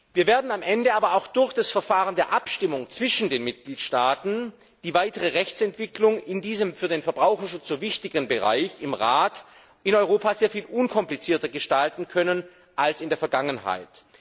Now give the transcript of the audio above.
Wir werden am Ende aber auch durch das Verfahren der Abstimmung zwischen den Mitgliedstaaten die weitere Rechtsentwicklung in diesem für den Verbraucherschutz so wichtigen Bereich im Rat sehr viel unkomplizierter gestalten können als in der Vergangenheit.